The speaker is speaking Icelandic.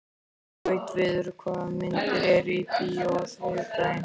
Gautviður, hvaða myndir eru í bíó á þriðjudaginn?